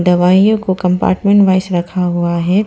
दवाइयों को compartment wise रखा हुआ है।